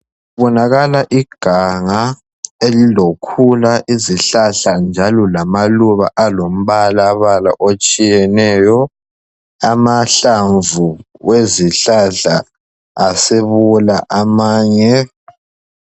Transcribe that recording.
Kubonakala iganga elilokhula izihlahla njalo lamaluba alombalabala otshiyeneyo amahlamvu wezihlahla amanye asebola.